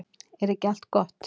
Er ekki allt gott?